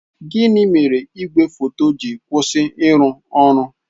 Gịnị mere igwe foto ji kwụsị ịrụ ọrụ?